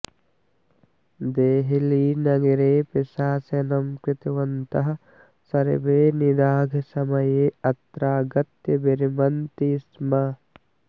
देहलीनगरे प्रशासनं कृतवन्तः सर्वे निदाघसमये अत्रागत्य विरमन्ति स्म